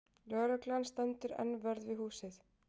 Lögreglan stendur enn vörð við húsið